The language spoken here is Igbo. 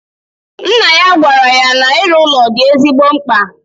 Nna ya gwara ya na iru ụlọ di ezigbo mkpa